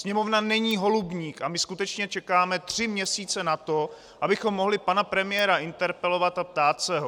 Sněmovna není holubník a my skutečně čekáme tři měsíce na to, abychom mohli pana premiéra interpelovat a ptát se ho!